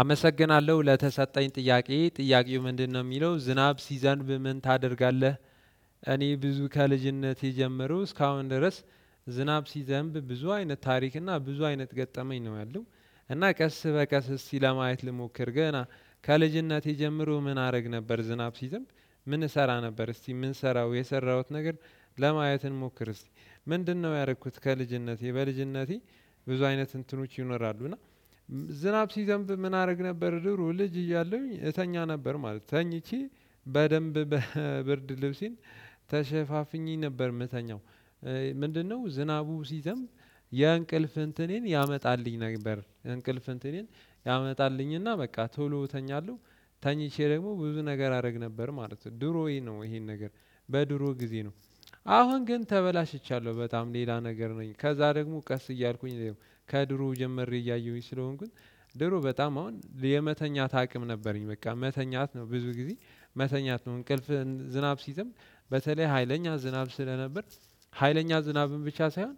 አመሰግናለሁ ለተሰጠኝ ጥያቄ ጥያቄው ምንድነው የሚለው ዝናብ ሲዘንብ ምን ታደርጋለህ? እኔ ብዙ ከልጅነት የጀመረው እስካሁን ድረስ። ዝናብ ሲዘንብ ብዙ አይነት ታሪክ እና ብዙ አይነት ገጠመኝ ነው ያለው። እና ቀስ በቀስ እስቲ ለማየት ልሞክር ገና ከልጅነት የጀመረው ምን አደረግ ነበር። ዝናብ ሲዘምንብ ምን እሰራ ነበር። እስቲ ምን ሰራው የሰራሁት ነገር ለማየት እንሞክር። እስቲ ምንድነው ያረኩት? ከልጅነቴ በልጅነቴ ብዙ አይነት እንትኖች ይኖራሉ እና። ዝናብ ሲዘንብ ምን አደረግ ነበር ድሮ ልጅ እያለሁኝ እተኛ ነበር ማለት ነው። ተኝቼ በደንብ በብርድ ልብሴን ተሸፋፍኜ ነበር የምተኛው። ምንድነው? ዝናቡ ሲዘም የእንቅልፍ እንትኔን ያመጣልኝ ነበር። እንቅልፍ እንትኔን ያመጣልኝና በቃ ቶሎ እተኛለሁ። ተኝቼ ደግሞ ብዙ ነገር አደረግ ነበር ማለት ነው። ድሮይ ነው ይሄን ነገር በድሮ ጊዜ ነው። አሁን ግን ተበላሽቻለሁ በጣም ሌላ ነገር ነኝ። ከዛ ደግሞ ቀስ እያልኩኝ ከድሮ ጀምሬ እያየሁኝ ስለሆንኩኝ። ድሮ በጣም አሁን የመተኛት አቅም ነበረኝ በቃ መተኛት ነው ብዙ ጊዜ መተኛት ነው እንቅልፍ ዝናብ ሲዘንብ። በተለይ ሀይለኛ ዝናብ ስለነበር ሀይለኛ ዝናብም ብቻ ሳይሆን።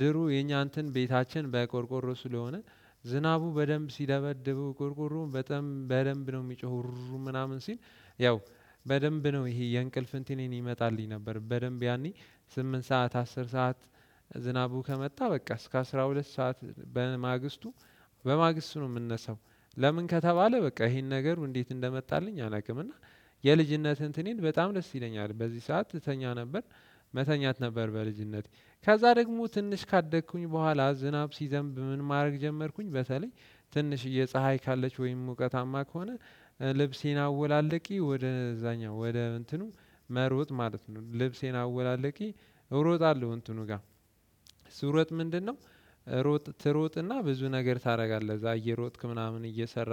ድሮ የኛ እንትን ቤታችን በቆርቆሮ ስለሆነ ዝናቡ በደንብ ሲደበድቡው ቆርቆሮውን በጣም በደንብ ነው የሚጮሆው ሩርር ምናምን ሲል። ያው በደንብ ነው ይሄ የእንቅልፍ እንትኔን ይመጣልኝ ነበር። በደንብ ያኔ ስምንት ሰዓት አስር ሰዓት። ዝናቡ ከመጣ በቃ እስከ አስራ ሁለት ሰዓት በማግስቱ በማግስቱ ነው የምነሳው። ለምን ከተባለ በቃ ይሄን ነገር እንዴት እንደመጣልኝ አላውቅም። እና የልጅነትህን ትንኔን በጣም ደስ ይለኛል በዚህ ሰዓት እትተኛ ነበር። መተኛት ነበር በልጅነቴ ከዛ ደግሞ ትንሽ ካደግኩኝ በኋላ ዝናብ ሲዘንብ ምን ማድረግ ጀመርኩኝ በተለይ። ትንሽ የፀሀይ ካለች ወይም ሙቀታማ ከሆነ ልብሴን አወላለቄ ወደዛኛው ወደ እንትኑ መሮጥ ማለት ነው ልብሴን አወላልቄ እሮጣለሁ እንትኑ ጋር። ስሮጥ ምንድነው? ሮጥ ትሮጥና ብዙ ነገር ታደርጋለህ እዛ እየሮጥክ ምናምን እየሰራ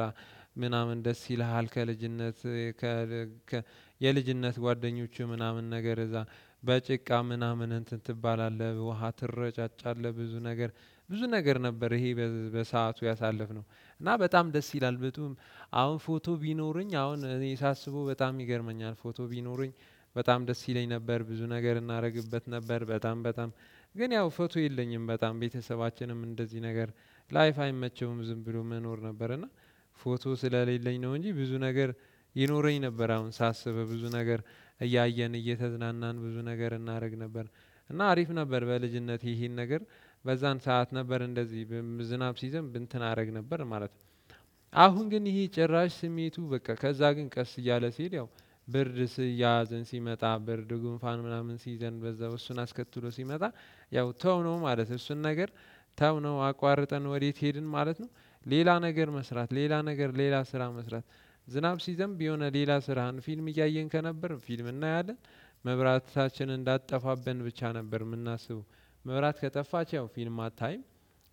ምናምን ደስ ይልሃል ከልጅነት። የልጅነት ጓደኞቼ ምናምን ነገር እዛ በጭቃ ምናምን እንትን ትባላለህ ውሃ ትረጫጫለህ ብዙ ነገር። ብዙ ነገር ነበር ይሄ በሰአቱ ያሳለፍነው እና በጣም ደስ ይላል። አሁን ፎቶ ቢኖረኝ አሁን እኔ ሳስበው በጣም ይገርመኛል ፎቶ ቢኖሩኝ። በጣም ደስ ይለኝ ነበር ብዙ ነገር እናደርግበት ነበር በጣም በጣም ግን ያው ፎቶ የለኝም። በጣም ቤተሰባችንም እንደዚህ ነገር ላይፍ አይመቸውም ዝም ብሎ መኖር ነበር እና። ፎቶ ስለሌለኝ ነው እንጂ ብዙ ነገር ይኖረኝ ነበር አሁን ሳስብ ብዙ ነገር። እያየን እየተዝናናን ብዙ ነገር እናደርግ ነበር። እና አሪፍ ነበር በልጅነት ይሄን ነገር በዛን ሰዓት ነበር እንደዚህ ዝናብ ሲዘንብ እንትን አደረግ ነበር ማለት ነው። አሁን ግን ይሄ ጭራሽ ስሜቱ በቃ ከዛ ግን ቀስ እያለ ሲል ያው ብርድ ሲያዝን ሲመጣ ብርድ ጉንፋን ምናምን ሲይዘን በዛው እሱን አስከትሎ ሲመጣ። ያው ተው ነው ማለት እሱን ነገር። ተው ነው አቋርጠን ወዴት ሄድን ማለት ነው። ሌላ ነገር መስራት ሌላ ነገር ሌላ ስራ መስራት። ዝናብ ሲዘምብ የሆነ ሌላ ስራህን ፊልም እያየን ከነበርን ፊልም እናያለን። መብራት ታችን እንዳትጠፋብን ብቻ ነበር የምናስበው። መብራት ከጠፋች ያው ፊልም አታይም።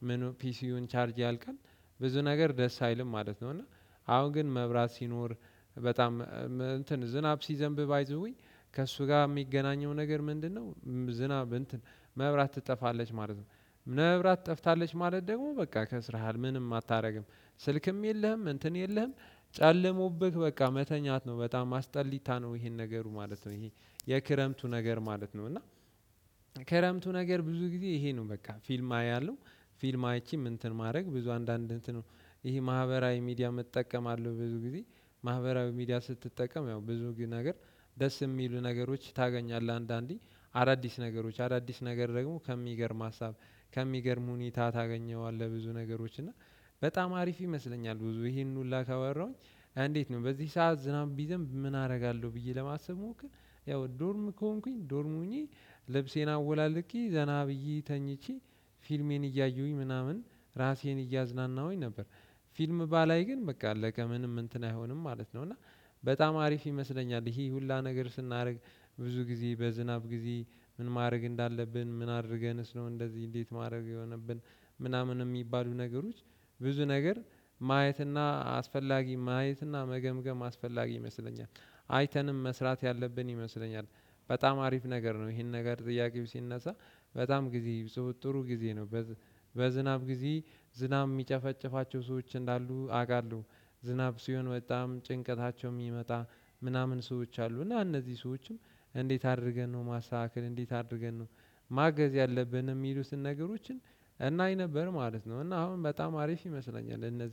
ምን ፒሲውን ቻርጅ ያልቀን ብዙ ነገር ደስ አይልም ማለት ነው። እና አሁን ግን መብራት ሲኖር በጣም እንትን ዝናብ ሲዘንብ ባይ ዘወይ ከእሱ ጋር የሚገናኘው ነገር ምንድነው? ዝናብ እንትን መብራት ትጠፋለች ማለት መብራት ጠፍታለች ማለት ደግሞ በቃ ከስረሃ ምንም አታደርግም። ስልክም የለህም እንትን የለህም። ጨለሞብህ በቃ መተኛት ነው በጣም አስጠሊታ ነው ይሄን ነገሩ ማለት ነው። ይሄ የክረምቱ ነገር ማለት ነው። እና ከረምቱ ነገር ብዙ ጊዜ ይሄ ነው በቃ ፊልም አያለሁ። ፊልም አይቼም እንትን ማድረግ ብዙ አንዳንድ እንትን ነው። ይሄ ማህበራዊ ሚዲያ መጠቀም አለው ብዙ ጊዜ። ማህበራዊ ሚዲያ ስትጠቀም ያው ብዙ ግን ነገር ደስ የሚሉ ነገሮች ታገኛለህ አንዳንዴ። አዳዲስ ነገሮች አዳዲስ ነገር ደግሞ ከሚገርም ሀሳብ። ከሚገርም ሁኔታ ታገኘዋለህ ብዙ ነገሮች እና። በጣም አሪፍ ይመስለኛል ብዙ ይሄን ሁሉ ካወራሁኝ። እንዴት ነው በዚህ ሰዓት ዝናብ ቢዘንብ ምን አደርጋለሁ ብዬ ለማሰብ ብሞክር። ያው ዶርም ከሆንኩኝ ዶርምሁኜ ልብሴን አወላልቄ ዘና ብዬ ተኝቼ ፊልሜን እያየሁኝ ምናምን ራሴን እያዝናናሁኝ ነበር። ፊልም ባላይ ግን በቃአለቀ ምንም እንትን አይሆንም ማለት ነው። እና በጣም አሪፍ ይመስለኛል። ይሄ ሁሉ ነገር ስናደርግ ብዙ ጊዜ በዝናብ ጊዜ ምን ማድረግ እንዳለብን ምን አድርገንስ ነው እንደዚህ እንዴት ማድረግ የሆነብን። ምናምን የሚባሉ ነገሮች ብዙ ነገር ማየትና አስፈላጊ ማየትና መገምገም አስፈላጊ ይመስለኛል። አይተንም መስራት ያለብን ይመስለኛል። በጣም አሪፍ ነገር ነው ይሄን ነገር ጥያቄው ሲነሳ። በጣም ጊዜ ሶ ጥሩ ጊዜ ነው። በዝናብ ጊዜ ዝናብ የሚጨፈጨፋቸው ሰዎች እንዳሉ አውቃለሁ። ዝናብ ሲሆን በጣም ጭንቀታቸው የሚመጣ። ምናምን ሰዎች አሉ እና እነዚህ ሰዎችም እንዴት አድርገን ነው ማስተካከል እንዴት አድርገን ነው? ማገዝ ያለብን የሚሉትን ነገሮችን እናይ ነበር ማለት ነው። እና አሁን በጣም አሪፍ ይመስለኛል እነዚህ